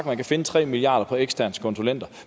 man kan finde tre milliard kroner på eksterne konsulenter